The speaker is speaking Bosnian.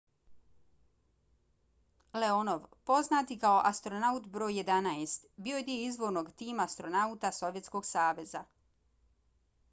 leonov poznat i kao astronaut br. 11 bio je dio izvornog tima astronauta sovjetskog saveza